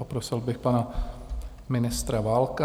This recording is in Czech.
Poprosil bych pana ministra Válka.